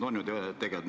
On ju niimoodi?